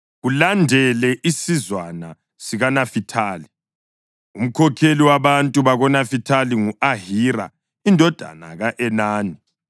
Kulandele isizwana sikaNafithali. Umkhokheli wabantu bakoNafithali ngu-Ahira indodana ka-Enani.